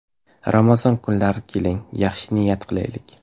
Ramazon kunlarida keling, yaxshi niyat qilaylik.